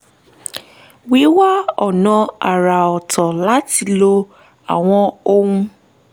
wíwá ọ̀nà àrà ọ̀tọ̀ láti lo àwọn ohun